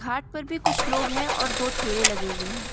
घाट पर भी कुछ लोग हैं और दो ठेले लगे हुए हैं।